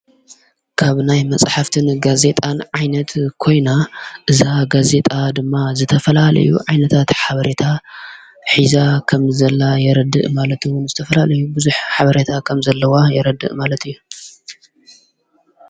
ካብ ናይ መጽሕፍትን ጋዜጣን ዓይነት ኮይና እዛ ጋዜጣ ድማ ዝተፈላለዩ ዓይነታት ሓበሬታ ኂዛ ኸም ዘላ የረድእ ማለትውን ዝተፈላለዩ ብዙኅ ሓበረታ ኸም ዘለዋ የረድእ ማለት እዩ።